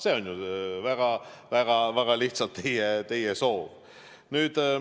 See on väga lihtsalt öeldes teie soov.